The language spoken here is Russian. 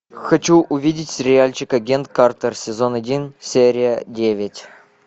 хочу увидеть сериальчик агент картер сезон один серия девять